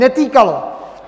Netýkalo!